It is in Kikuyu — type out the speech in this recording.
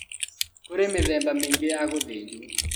Kũrĩ mĩthemba mĩingĩ ya gũthĩnjwo